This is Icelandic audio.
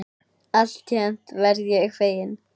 Alltént verð ég feginn.